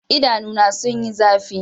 Idanuna sun yi zafi.